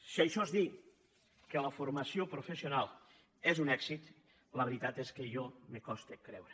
si això és dir que la formació professional és un èxit la veritat és que a mi me costa de creure